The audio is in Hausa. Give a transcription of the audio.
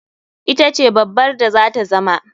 Ita ce babbar da zata zama.